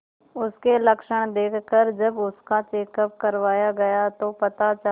उसके लक्षण देखकरजब उसका चेकअप करवाया गया तो पता चला